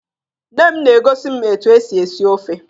Nne m na-egosi m etu e si esi ofe